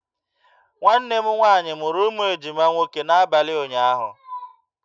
Nwanne m nwaanyị mụrụ ụmụ ejima nwoke n'abalị ụnyaahụ